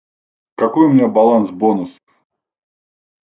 какой у меня баланс бонус